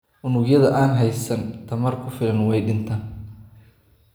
Unugyada aan haysan tamar ku filan way dhintaan.